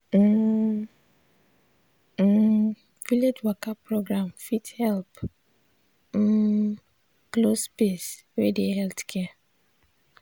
um um village waka program fit help um close space wey dey healthcare.